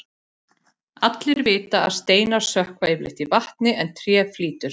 Allir vita að steinar sökkva yfirleitt í vatni en tré flýtur.